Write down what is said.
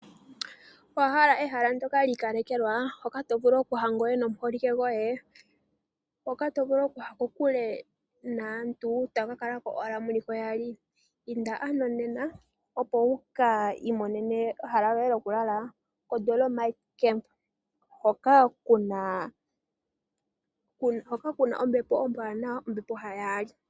Owa hala ehala ndyoka li ikalekelwa? Hoka to vulu okuya ngoye nomuholike goye ,hoka to vulu okuya kokule naantu tamu ka kala owala muliko yaali? Inda ano nena opo wuka imonene ehala lyoye lyoku lala ko Dolomite camp hoka kuna ombepo ombwaanawa, ombepo ya yaali.